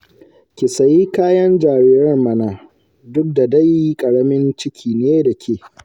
Ki sayi kayan jariran mana, duk da dai ƙaramin ciki ne da ke